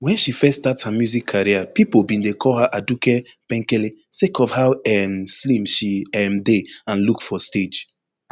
wen she first start her music career pipo bin dey call her aduke penkele sake of how um slim she um dey and look for stage